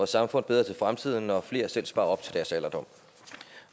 samfund bedre til fremtiden når flere selv sparer op til deres alderdom